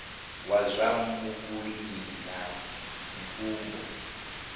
wa zwa vhulimi na mvumbo